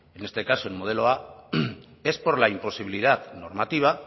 en este caso en modelo a es por la imposibilidad normativa